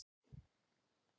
Olga, er opið í Málinu?